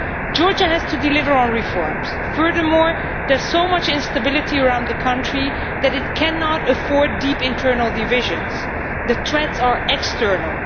Georgia has to deliver on reforms. Furthermore, there so much instability around the country that it cannot afford deep internal divisions. The threats are external.